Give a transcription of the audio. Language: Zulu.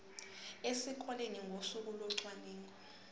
esikoleni ngosuku locwaningo